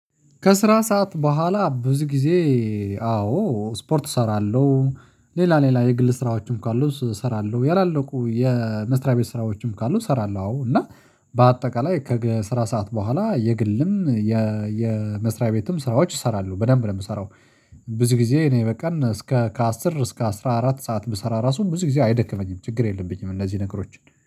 ከስራ ሰዓት በኋላ ብዙ ጊዜ። አዎ ስፖርት እሰራለሁ ሌላ ሌላ የግል ስራዎችም ካሉ እሱን እሰራለሁ ያላለቁ የመስሪያ ቤት ስራዎችም ካሉ እሰራለሁ። አዎ እና በአጠቃላይ ከስራ ሰዓት በኋላ የግልም የመስሪያ ቤትም ስራዎች እሰራለው በደንብ ነው የምሰራው። ብዙ ጊዜ እኔ በቃ እስከ ከአስር እስከ አስራ አራት ሰዓት ብሰራ ራሱ ብዙ ጊዜ አይደክመኝም ችግር የለብኝም። እነዚህ ነገሮች